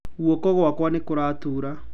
Guoko gwakwa nĩ kũratura.